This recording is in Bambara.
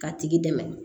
K'a tigi dɛmɛ